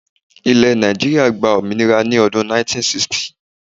Ilẹ́ Nàìjíríà gba òmìnira ní odún 1960